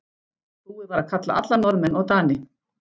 Búið var að kalla alla Norðmenn og Dani.